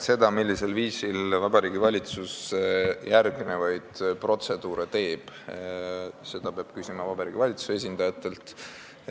Seda, millisel viisil Vabariigi Valitsus järgnevaid protseduure teeb, peab küsima Vabariigi Valitsuse esindajatelt.